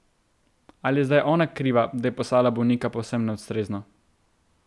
Ali je zdaj ona kriva, da je poslala bolnika povsem neustrezno?